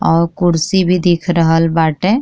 और कुर्सी भी दिख रहल बाटे।